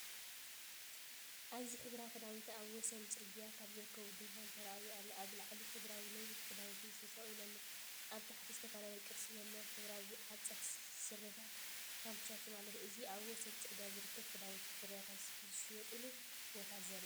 ኣብዚ ሕብራዊ ክዳውንቲ ኣብ ወሰን ጽርግያ ኣብ ዝርከብ ድኳን ተራእዩ ኣሎ። ኣብ ላዕሊ ሕብራዊ ነዊሕ ክዳውንቲ ተሰቒሉ ኣሎ። ኣብ ታሕቲ፡ዝተፈላለየ ቅርጺ ዘለዎም ሕብራዊ ሓጸርቲ ስረታትን ካምቻታትን ኣለዉ። እዚ ኣብ ወሰን ጽርግያ ዝርከብ ክዳውንትን ፍረታትን ዝሸጡሉ ቦታ ዘርኢ እዩ።